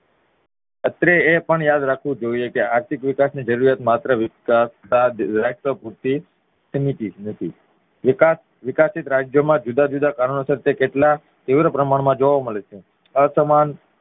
અત્રે એપણ યાદ રાખવું જોઈએ કે આર્થિક વિકાસ ની જરૂરિયાત માત્ર પૂરતી સીમિત જ નથી વિકસિત રાજ્ય માં જુદા જુદા કારણોસર તે કેટલા તીવ્ર પ્રમાણ માં જોવા મળે છે અસમાન